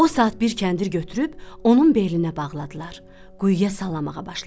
O saat bir kəndir götürüb onun belinə bağladılar, quyuya salamağa başladılar.